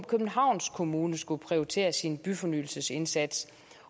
københavns kommune skulle prioritere sin byfornyelsesindsats